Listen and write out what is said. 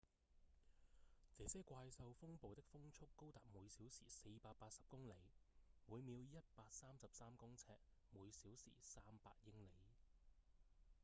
這些怪獸風暴的風速高達每小時480公里每秒133公尺；每小時300英里